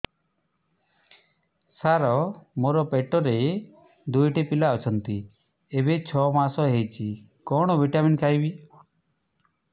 ସାର ମୋର ପେଟରେ ଦୁଇଟି ପିଲା ଅଛନ୍ତି ଏବେ ଛଅ ମାସ ହେଇଛି କଣ ଭିଟାମିନ ଖାଇବି